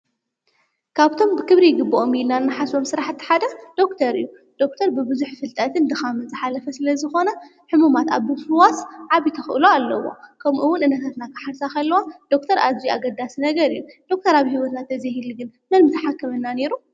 ካብቶም ብክብሪ ይግብኦም ኢልና ንሓስቦም ሥራሕቲ እቲ ሓደኽ ዶክር እዩ። ዶኩተር ብቡዙሕ ፍልጠትን ድኻ ምን መንጽ ሓለፈ ስለ ዝኾነ ሕሙማት ኣብ ብምፍዋስ ዓብዪ ተኽእሎ ኣለዎ። ከምኡ እውን ሕሙማት ኣብ ምሓዝ ዓብይ ተኽእሎ ስለዘለዎ ዶክተር ዓብይ ኣገዳሲ ነገር እዩ ።ዶክተር ኣብ ሕይወትና እንተዘይህሉ ነይሩ መን ንሓከመና ኑሩ?